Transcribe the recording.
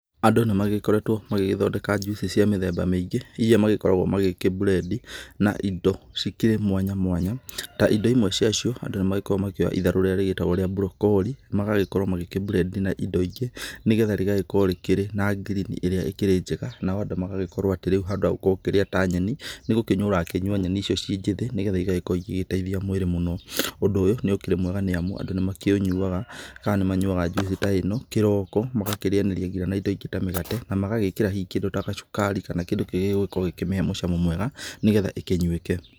Andũ nĩ magĩkoretwo magĩgĩthondeka njuici cia mĩthemba mĩingĩ iria magĩkoragwo magĩkĩ blend na indo cikĩrĩ mwanya mwanya. Ta indo imwe cia cio andũ nĩ makoragwo makĩoya itharũ rĩrĩa rĩgĩtagwo rĩa broccoli magagĩkorwo magĩkĩ blend na indo ingĩ nĩ getha rĩgagĩkorwo rĩkĩrĩ na ngirini ĩrĩa ĩkĩrĩ njega. Na andũ magagĩkorwo atĩ rĩu handũ hagũgĩkorwo ũgĩkĩrĩa ta nyeni nĩ gũkĩnyua ũrakĩnyua nyeni icio ciĩ njĩthĩ nĩ getha igagĩkorwo igĩgĩteithia mwĩrĩ mũno. Ũndũ ũyũ nĩ ũkĩrĩ mwega nĩ amu andũ nĩ makĩũnyuaga kana nĩ manyuaga njuici ta ĩno kĩroko, magakĩrĩanĩria ngina na indo ingĩ ta mĩgate. Na magagĩkĩra hihi kĩndũ ta gacukari kana hihi kĩndũ kĩngĩ kĩngĩgĩkorwo gikĩmĩhe mũcamo mwega nĩ getha ĩkĩnyuĩke.